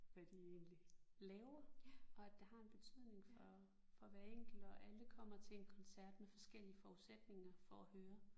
Hvad de egentlig laver og at det har en betydning for for hver enkelt og alle kommer til en koncert med forskellige forudsætninger for at høre